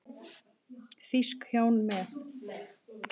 Þýsk hjón með